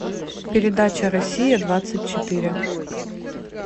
передача россия двадцать четыре